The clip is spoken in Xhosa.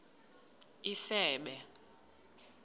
isebe